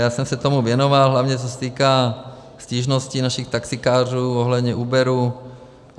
Já jsem se tomu věnoval, hlavně co se týká stížností našich taxikářů ohledně Uberu.